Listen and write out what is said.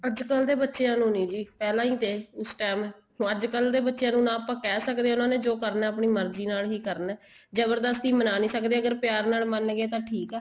ਅੱਜਕਲ ਦੇ ਬੱਚਿਆ ਨੂੰ ਜੀ ਪਹਿਲਾਂ ਹੀ ਤੇ ਇਸ time ਹੁਣ ਅੱਜਕਲ ਦੇ ਬੱਚਿਆ ਨੂੰ ਨਾ ਆਪਾਂ ਕਹਿ ਸਕਦੇ ਹਾਂ ਉਹਨਾ ਨੇ ਜੋ ਕਰਨਾ ਆਪਣੀ ਮਰਜੀ ਨਾਲ ਕਰਨਾ ਜਬਰਦਸਤੀ ਮਨਾ ਨਹੀਂ ਸਕਦੇ ਅਗਰ ਪਿਆਰ ਨਾਲ ਮੰਨ ਗਏ ਤਾਂ ਠੀਕ ਆ